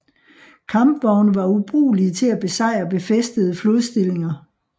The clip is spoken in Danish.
Kampvogne var ubrugelige til at besejre befæstede flodstillinger